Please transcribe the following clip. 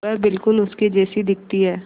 वह बिल्कुल उसके जैसी दिखती है